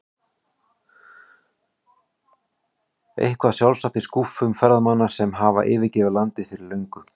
Eitthvað sjálfsagt í skúffum ferðamanna sem hafa yfirgefið landið fyrir löngu.